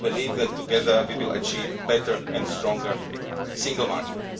I believe that together, we will achieve a better and stronger single market.